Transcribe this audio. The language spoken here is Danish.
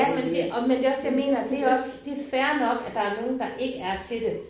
Ja men det og men det også det jeg mener. Det også det er fair nok at der er nogen der ikke er til det